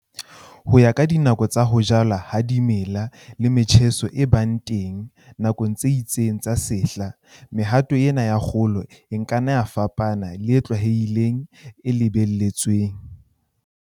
Ho ya ka dinako tsa ho jalwa ha dimela le metjheso e bang teng nakong tse itseng tsa sehla, mehato ena ya kgolo e ka nna ya fapana le e tlwaelehileng, e lebelletsweng.